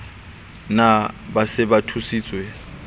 na ba se ba thusitswe